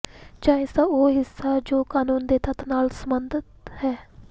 ਜਾਂ ਇਸ ਦਾ ਉਹ ਹਿੱਸਾ ਜੋ ਕਾਨੂੰਨ ਦੇ ਤੱਤ ਨਾਲ ਸੰਬੰਧਤ ਹੈ